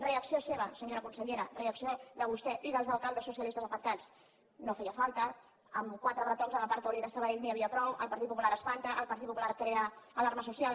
reacció seva senyora consellera reacció de vostè i dels alcaldes socialistes afectats no feia falta amb quatre retocs al parc taulí de sabadell n’hi havia prou el partit popular espanta el partit popular crea alarma social